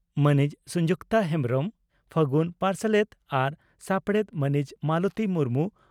ᱢᱟᱹᱱᱤᱡ ᱥᱚᱸᱡᱩᱠᱛᱟ ᱦᱮᱢᱵᱽᱨᱚᱢ ᱯᱷᱟᱹᱜᱩᱱ ᱯᱟᱨᱥᱟᱞᱮᱛ ᱟᱨ ᱥᱟᱯᱲᱮᱛ ᱢᱟᱹᱱᱤᱡ ᱢᱟᱞᱚᱛᱤ ᱢᱩᱨᱢᱩ